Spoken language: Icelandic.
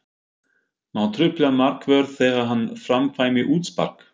Má trufla markvörð þegar hann framkvæmir útspark?